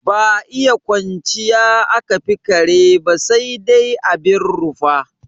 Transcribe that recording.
Ba iya kwanciya aka fi kare ba sai dai abin rufa.